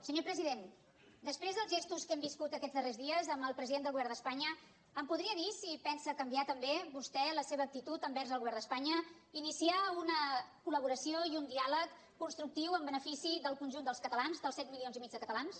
senyor president després dels gestos que hem viscut aquests darrers dies amb el president del govern d’espanya em podria dir si pensa canviar també vostè la seva actitud envers el govern d’espanya iniciar una col·laboració i un diàleg constructiu en benefici del conjunt dels catalans dels set milions i mig de catalans